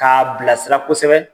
K'a a bilasira kosɛbɛ